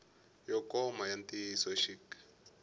yo koma ya ntiyiso xik